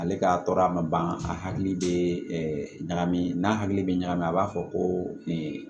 Ale ka tɔɔrɔya ma ban a hakili bɛ ɲagami n'a hakili bɛ ɲagami a b'a fɔ ko